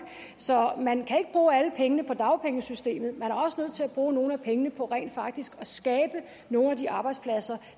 så man kan ikke bruge alle pengene på dagpengesystemet man er også nødt til at bruge nogle af pengene på rent faktisk at skabe nogle af de arbejdspladser